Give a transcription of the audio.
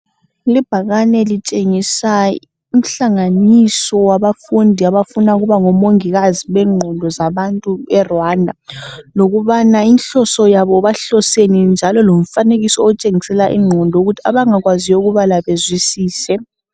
Libhakane litshengisa inhlanganiso wabafundi abafuna ukuba ngomongikazi bengqondo zabantu be Rwanda. Lokubana inhloso yabo bahloseni njalo lomfanekiso otshengisela ingqondo ukuthi abangakwazi ukubala bazwisise.